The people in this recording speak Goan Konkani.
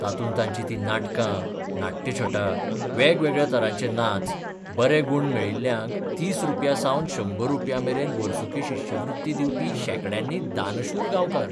तातूंत तांचीं तीं नाटकां, नाट्यछटा, वेगवेगळ्या तरांचे नाच, बरे गूण मेकिल्ल्यांक 30 रुपयांसावन 100 रुपयांमेरेन वसुंकी शिश्यवृत्ती दिवपी शेंकड्यांनी 'दानशूर 'गांवकार.